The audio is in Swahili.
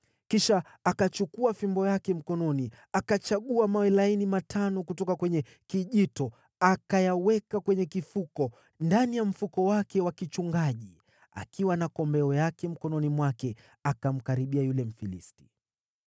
Kisha akachukua fimbo yake mkononi, akachagua mawe laini matano kutoka kwenye kijito, akayaweka kwenye kifuko ndani ya mfuko wake wa kichungaji, akiwa na kombeo yake mkononi mwake, akamkaribia yule Mfilisti.